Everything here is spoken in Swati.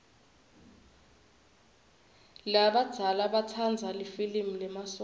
labadzala batsanza lifilimi lemasotja